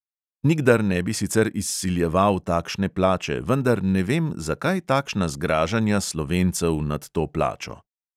Nikdar ne bi sicer izsiljeval takšne plače, vendar ne vem, zakaj takšna zgražanja slovencev nad to plačo.